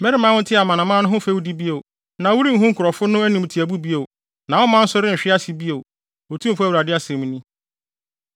Meremma wonte amanaman no fɛwdi bio, na worenhu nkurɔfo no animtiaabu bio, na wo man nso renhwe ase bio, Otumfo Awurade asɛm ni.’ ”